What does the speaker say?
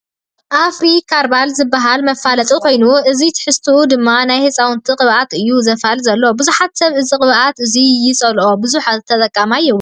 ኣፍሪ ካርባል ዝብል መፋለጢ ኮይኑ እዚ ትሕዝትኡ ድማ ናይ ህፃውቲ ቅባኣት እዩ ዘፋልጥ ዘሎ። ብዙሕ ሰብ እዚ ቅብኣት እዙይ ይፀልኦ ብዙሕ ተጠቃማይ የብሉን።